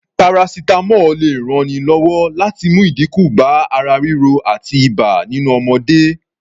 Paracetamol lè ranni lọ́wọ́ láti mú ìdínkù bá ara ríro àti ibà nínú ọmọdé